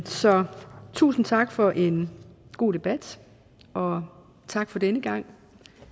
så tusind tak for en god debat og tak for denne gang